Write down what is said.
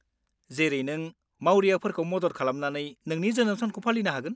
जेरै नों मावरियाफोरखौ मदद खालामनानै नोंनि जोनोम सानखौ फालिनो हागोन।